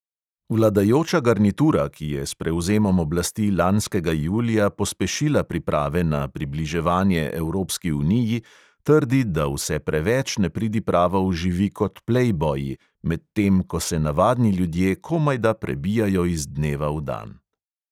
Vladajoča garnitura, ki je s prevzemom oblasti lanskega julija pospešila priprave na približevanje evropski uniji, trdi, da vse preveč nepridipravov živi kot plejboji, medtem ko se navadni ljudje komajda prebijajo iz dneva v dan.